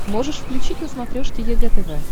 можешь включить на смотрешке егэ тв